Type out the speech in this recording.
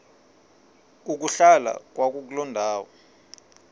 ukuhlala kwakuloo ndawo